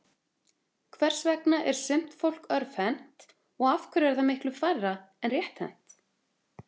Hvers vegna er sumt fólk örvhent og af hverju er það miklu færra er rétthent?